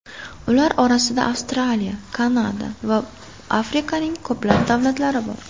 Ular orasida Avstraliya, Kanada va Afrikaning ko‘plab davlatlari bor.